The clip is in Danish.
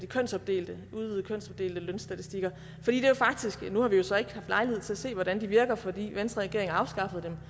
kønsopdelte udvidede lønstatistikker nu har vi så ikke haft lejlighed til at se hvordan de virker fordi venstreregeringen afskaffede